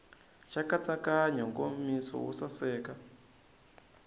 xa nkatsakanyo nkomiso wo saseka